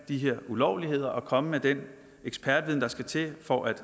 de her ulovligheder og komme med den ekspertviden der skal til for at